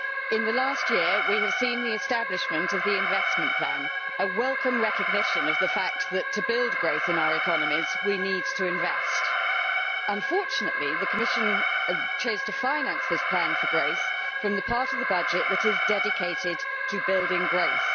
In the last year we have seen the establishment of the investment plan, a welcome recognition of the fact that to build growth in our economies we need to invest. Unfortunately, the Commission chose to finance this plan for growth from the part of the budget that is dedicated to building growth.